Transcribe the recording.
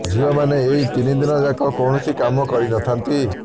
ଝିଅମାନେ ଏହି ତିନିଦିନ ଯାକ କୌଣସି କାମ କରି ନଥାନ୍ତି